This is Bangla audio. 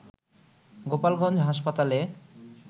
গোপালগঞ্জ হাসপাতালে